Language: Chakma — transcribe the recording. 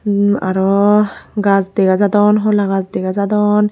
imm araw gaz dega jadon hola gaz dega jadon.